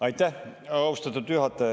Aitäh, austatud juhataja!